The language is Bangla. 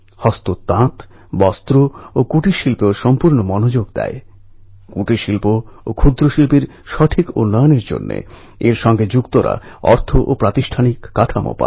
মন কি বাত অনুষ্ঠানের শ্রোতাদের আমার অনুরোধ যদি সুযোগ আসে পণ্ঢরপুরের পুণ্যযাত্রার অভিজ্ঞতা অবশ্যই অর্জন করবেন